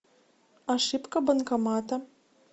ошибка банкомата